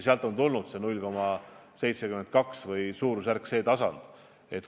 Sealt on tulnud see 0,72%.